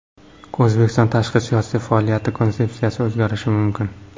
O‘zbekiston tashqi siyosiy faoliyat konsepsiyasi o‘zgarishi mumkin.